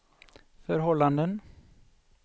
förhållanden